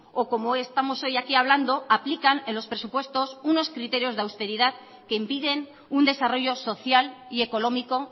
o como estamos hoy aquí hablando aplican en los presupuestos unos criterios de austeridad que impiden un desarrollo social y económico